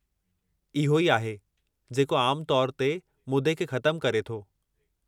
इहो ई आहे जेको आमु तौरु ते मुदे खे ख़तमु करे थो।